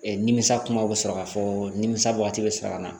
nimisa kumaw bɛ sɔrɔ ka fɔ nimisa waati bɛ sɔrɔ ka na